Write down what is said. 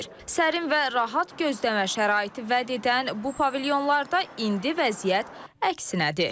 Sərin və rahat gözləmə şəraiti vəd edən bu pavilyonlarda indi vəziyyət əksinədir.